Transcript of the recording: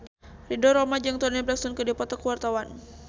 Ridho Roma jeung Toni Brexton keur dipoto ku wartawan